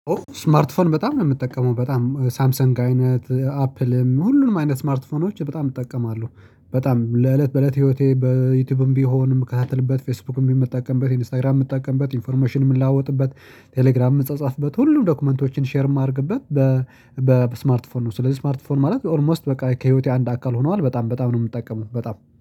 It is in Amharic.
ስማርትፎን በጣም ነው የምትጠቀመው በጣም ሳምሰንግ አይነት አፕልም ሁሉንም አይነት ስማርትፎኖች በጣም እጠቀማለሁ በጣም ለእለት በእለት ህይወቴ በዩቲዩብም ቢሆንም ምከታተልበት ፌስቡክም ቢሆን ምጠቀምበት ኢንስታግራም ምጠቀምበት ኢንፎርሜሽንም የምለዋወጥበት ቴሌግራም የምጸጸፍበት ሁሉም ዶክመንቶችን ሼር የማደርግበት በስማርትፎን ነው። ስለዚህ ስማርትፎን ማለት ኦልሞስት በቃ ከህይወቴ አንድ አካል ሆነዋል በጣም ነው የምጠቀም ነው። በጣም